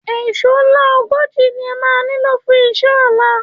Èṣó ńlá ogójì ni ẹ máa nílò fún iṣẹ́ ọ̀la